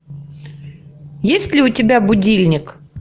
есть ли у тебя будильник